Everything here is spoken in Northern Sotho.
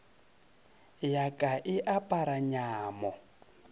ya ka e apara nyamo